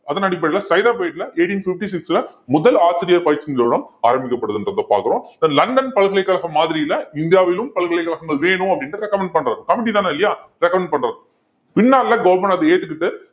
அதன் அடிப்படையில சைதாப்பேட்டையில eighteen fifty-six ல முதல் ஆசிரியர் பயிற்சி நிறுவனம் ஆரம்பிக்கப்படுதுன்றதை பார்க்கிறோம் லண்டன் பல்கலைக்கழகம் மாதிரியில இந்தியாவிலும் பல்கலைக்கழகங்கள் வேணும் அப்படின்னு recommend பண்றாரு committee தானே இல்லையா recommend பண்றது பின்னால government அதை ஏத்துக்கிட்டு